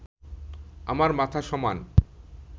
আমার মাথা সমান